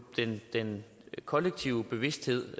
den kollektive bevidsthed